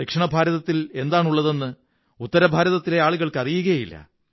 ദക്ഷിണഭാരതത്തിൽ എന്താണുള്ളതെന്ന് ഉത്തരഭാരതത്തിലെ ആളുകള്ക്ക്ൂ അറിയുകയേ ഇല്ല